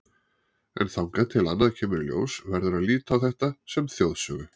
En þangað til annað kemur í ljós verður að líta á þetta sem þjóðsögu.